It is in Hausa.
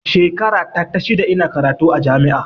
Shekara ta ta shida ina karatu a jami'a